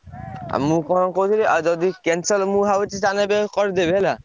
ଆଉ ମୁଁ କଣ କହୁଥିଲି ଆଉ ଯଦି cancel ମୁଁ ଭାବୁଛି ତାହେଲେ ଏବେ କରିଦେବି ହେଲା।